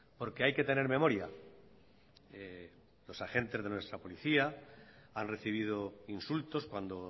porque hay que tener memoria los agentes de nuestra policía han recibido insultos cuando